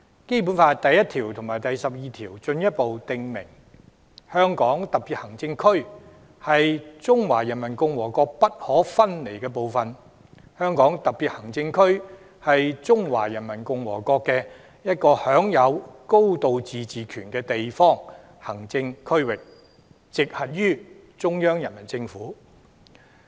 《基本法》第一條和第十二條進一步訂明，"香港特別行政區是中華人民共和國不可分離的部分"，"香港特別行政區是中華人民共和國的一個享有高度自治權的地方行政區域，直轄於中央人民政府"。